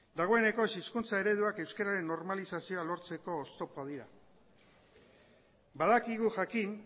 dagoeneko ez hizkuntza ereduak euskeraren normalizazioa lortzeko oztopoa dira badakigu jakin